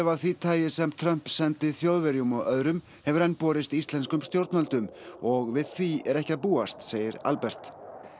af því tagi sem Trump sendi Þjóðverjum og öðrum hefur enn borist íslenskum stjórnvöldum og við því er ekki að búast segir Albert